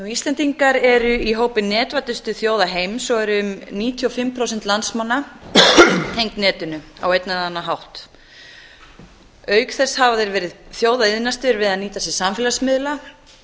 íslendingar eru í hópi netvæddustu þjóða heims og eru um níutíu og fimm prósent landsmanna tengd netinu á einn eða annan hátt auk þess hafa þeir verið þjóða iðnastir við að